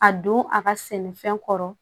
A don a ka sɛnɛfɛn kɔrɔ